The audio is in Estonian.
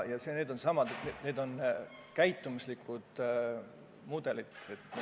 Tuleb muuta käitumuslikke mudeleid.